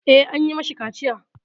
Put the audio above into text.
Eh, an yi mashi kaciya.